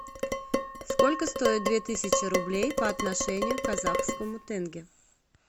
сколько стоит две тысячи рублей по отношению к казахскому тенге